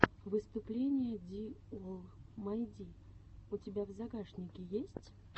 выступление ди олл май ди у тебя в загашнике есть